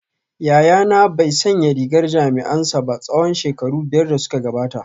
Yayana bai sanya rigar jami’ansa ba tsawon shekaru biyar da suka gabata